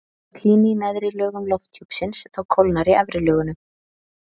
þótt hlýni í neðri lögum lofthjúpsins þá kólnar í efri lögunum